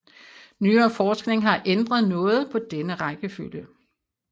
Nyere forskning har ændret noget på denne rækkefølge